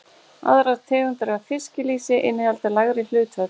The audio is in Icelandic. Aðrar tegundir af fiskilýsi innihalda lægri hlutföll.